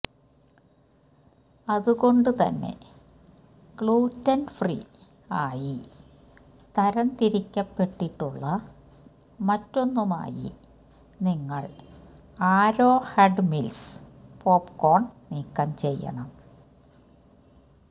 അതുകൊണ്ടു തന്നെ gluten free ആയി തരം തിരിക്കപ്പെട്ടിട്ടുള്ള മറ്റൊന്നുമായി നിങ്ങൾ ആരോഹെഡ് മിൽസ് പോപ്കോൺ നീക്കം ചെയ്യണം